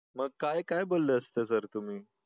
मग काय काय बोलले असते सर तुम्ही